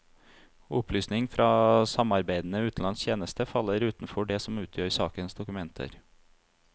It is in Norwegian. Opplysninger fra samarbeidende utenlandsk tjeneste faller utenfor det som utgjør sakens dokumenter.